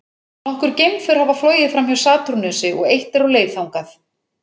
Nokkur geimför hafa flogið framhjá Satúrnusi og eitt er á leið þangað.